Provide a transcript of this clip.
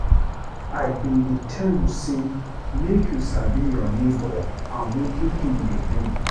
I been dey tel you say make you sabi your nebor and wetin him dey do.